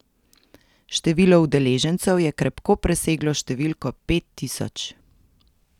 Število udeležencev je krepko preseglo številko pet tisoč.